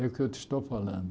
É o que eu te estou falando.